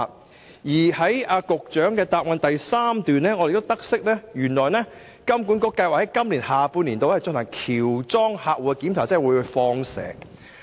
我亦從答覆第三部分得悉金管局計劃在今年下半年進行喬裝客戶檢查，即"放蛇"。